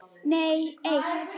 Nei eitt.